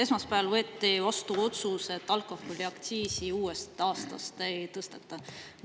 Esmaspäeval võeti vastu otsus, et alkoholiaktsiisi uuest aastast ei tõsteta.